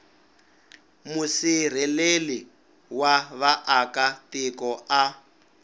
musirheleli wa vaaka tiko a